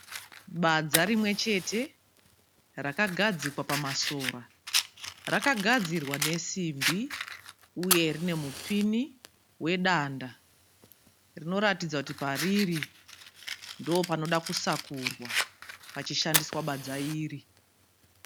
Badza rimwe chete rakagadzikwa pamasora. Rakagadzirwa nesimbi uye rine mupini wedanda. Rinoratidza kuti pariri ndopanoda kusakurwa pachishandiswa badza iri.